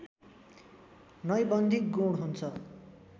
नैबन्धिक गुण हुन्छ